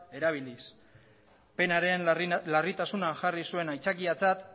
erabiliz penaren larritasunean jarri zuen aitzakiatzat